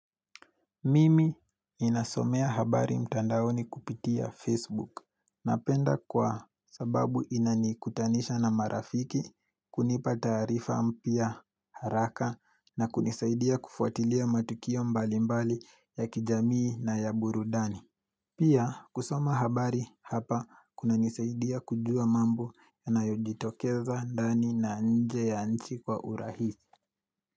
Mimi nasomea habari mtandaoni kupitia Facebook. Napenda kwa sababu inanikutanisha na marafiki, kunipa tarifaa mpya haraka na kunisaidia kufuatilia matukio mbali mbali ya kijamii na ya burudani. Pia kusoma habari hapa kunanisaidia kujua mambo yanayojitokeza ndani na nje ya nchi kwa urahisi.